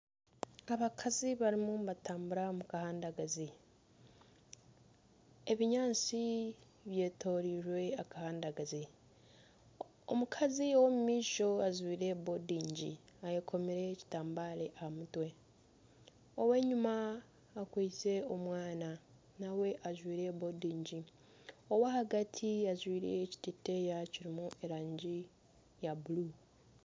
Abakazi barimu nibatambura omu kahandagazi, ebinyaatsi byetoreire akahandagazi omukazi ow'omumaisho ajwaire bondingi ayekomire ekitambare aha mutwe ow'enyuma akwaitse omwana nawe ajwaire bondingi owa hagati ajwaire ekiteteeya kirimu erangi ya buruu.